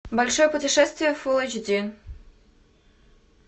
большое путешествие фулл эйч ди